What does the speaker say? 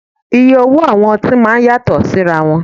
Iye owó àwọn ọtí máa ń yàtọ̀ síra wọn